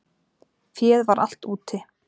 Féð var allt úti.